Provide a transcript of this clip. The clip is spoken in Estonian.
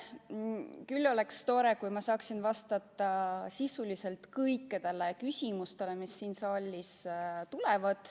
Küll oleks tore, kui ma saaksin vastata sisuliselt kõikidele küsimustele, mis siin saalis esitatakse.